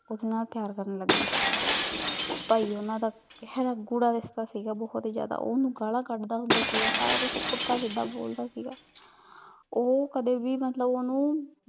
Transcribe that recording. ਉਦੇ ਨਾਲ ਪਯਾਰ ਕਰਨ ਲੱਗ ਗਈ ਪਾਈ ਓਹਨਾਂ ਦਾ ਗੇਹਰਾ ਗੂੜਾ ਰਿਸ਼ਤਾ ਸੀਗਾ ਬੋਹਤ ਈ ਜ਼੍ਯਾਦਾ ਉਨਹੂ ਗਾਲਾਂ ਕਾਂਡਦਾ ਹੁੰਦਾ ਸੀਗਾ ਸਾਰਾ ਕੁਛ ਊ ਪੁੱਠਾ ਸੀਧਾ ਬੋਲਦਾ ਸੀਗਾ